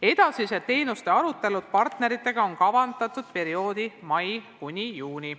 Edasised teenuste arutelud partneritega on kavandatud perioodi mai – juuni.